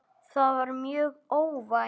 Það var mjög óvænt.